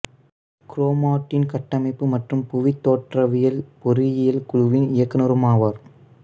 chromatin கட்டமைப்பு மற்றும் புவித் தோற்ரவியல் பொறியியல் குழுவின் இயக்குனருமாவார்